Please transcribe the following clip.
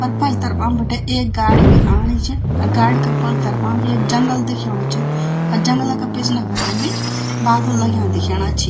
पर पाली तरफा एक गाड़ी भी आनी च और गाड़ी का पलला तरफा भी एक जंगल दिख्याणु च और जंगल का पिछणे भटे भी बादल लग्या दिख्यान च।